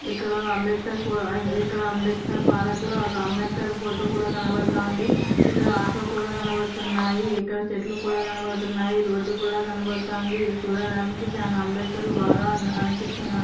ఇక్కడ అంబేద్కర ఇక్కడ అంబేద్కర్ పార్క్ లో అంబేద్కర్ ఫోటో కూడా కనపడుతుంది. ఇక్కడ ఆటో కూడా కనబడుతున్నాయి. ఇక్కడ చెట్లు కూడా కనపడుతున్నాయి. రోడ్ కూడా కనబడుతుంది. చూడడానికి చానా అంబేద్కర్ బాగా అన-అనిపిస్తునారు.